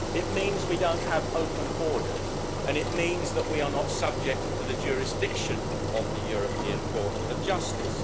It means we don't have open borders and it means that we are not subject to the jurisdiction of the European Court of Justice.